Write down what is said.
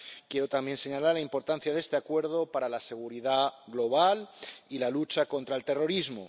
Quiero también señalar la importancia de este Acuerdo para la seguridad global y la lucha contra el terrorismo.